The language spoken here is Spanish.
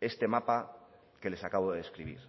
este mapa que les acabo de describir